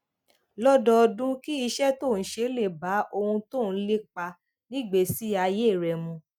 lọdọọdún kí iṣẹ tó ń ṣe lè bá ohun tó ń lépa nígbèésí ayé rẹ mu